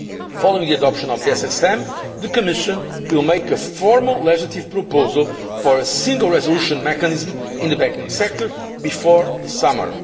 Following the adoption of the SSM the Commission will make a formal legislative proposal for a single resolution mechanism in the banking sector before the summer.